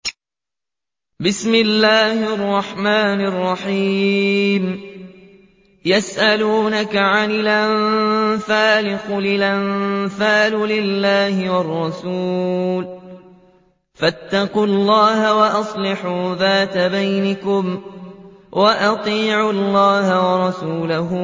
يَسْأَلُونَكَ عَنِ الْأَنفَالِ ۖ قُلِ الْأَنفَالُ لِلَّهِ وَالرَّسُولِ ۖ فَاتَّقُوا اللَّهَ وَأَصْلِحُوا ذَاتَ بَيْنِكُمْ ۖ وَأَطِيعُوا اللَّهَ وَرَسُولَهُ